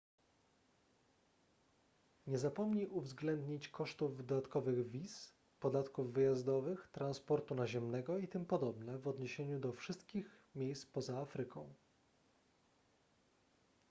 nie zapomnij uwzględnić kosztów dodatkowych wiz podatków wyjazdowych transportu naziemnego itp w odniesieniu do wszystkich miejsc poza afryką